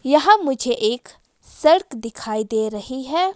यहाँ मुझे एक सड़क दिखाई दे रही है।